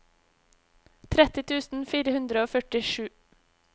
tretti tusen fire hundre og førtisju